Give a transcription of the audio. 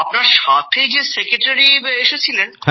আপনার সাথে যে সেক্রেটারি এসেছিলেন